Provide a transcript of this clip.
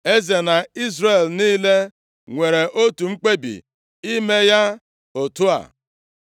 Eze na Izrel niile nwere otu mkpebi ime ya otu a.